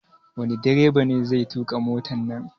Wani direba ne zai tuƙa motan nan?